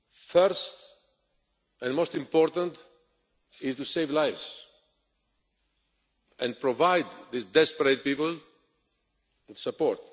First and most important is to save lives and provide these desperate people with support.